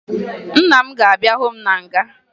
Nna m ga-abịa hụ m na nga